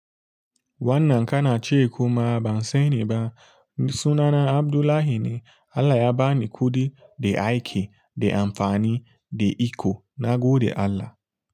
Wannan kana ce kuma ban sani ba. Sunana Abdullahi ne. Allah ya ba ni kuɗi da aiki, da amfani, da iko nagode Allah.